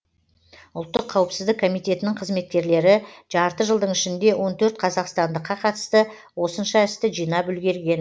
ұлттық қауіпсіздік комитетінің қызметкерлері жарты жылдың ішінде он төрт қазақстандыққа қатысты осынша істі жинап үлгерген